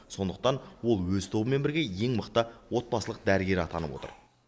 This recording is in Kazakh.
сондықтан ол өз тобымен бірге ең мықты отбасылық дәрігер атанып отыр